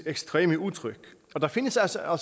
ekstreme udtryk og der findes altså